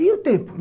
E o tempo?